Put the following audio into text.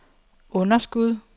underskud